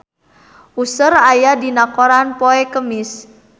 Usher aya dina koran poe Kemis